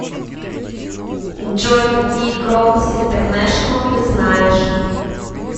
джой какие крокус интернешнл ты знаешь